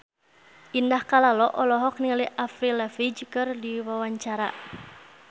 Indah Kalalo olohok ningali Avril Lavigne keur diwawancara